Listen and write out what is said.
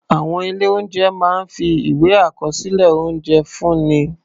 Àwọn ilé-oúnjẹ máa ń fi ìwé àkọsílẹ̀ oúnjẹ fúnni.